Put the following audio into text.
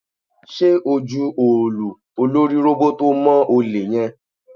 Ṣé o ju òòlù olórí róbótó mọ́ olè yẹn?